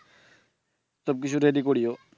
সবকিছু ready করিও।